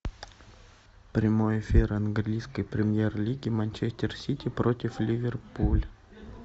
прямой эфир английской премьер лиги манчестер сити против ливерпуль